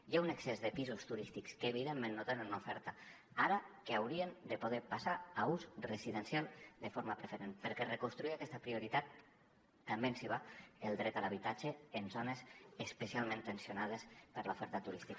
hi ha un excés de pisos turístics que evidentment no tenen una oferta ara que haurien de poder passar a ús residencial de forma preferent perquè amb reconstruir aquesta prioritat també ens hi va el dret a l’habitatge en zones especialment tensionades per l’oferta turística